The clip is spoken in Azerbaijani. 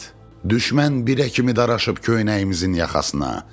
Düşmən birə kimi daraşıb köynəyimizin yaxasına.